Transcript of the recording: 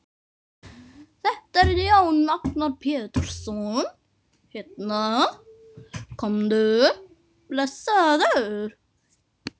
Þetta er Jón Agnar Pétursson hérna, komdu blessaður.